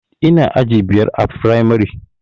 Ina aji biyar a firamare